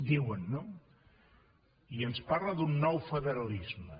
diuen no i ens parla d’un nou federalisme